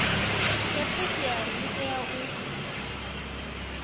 ya theshiari ḽi tea u